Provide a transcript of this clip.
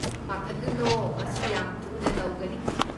ꯄꯥꯈꯠꯂꯨꯅꯣ, ꯃꯁꯤ ꯌꯥꯝ ꯊꯨꯅ ꯇꯧꯒꯅꯤ ꯫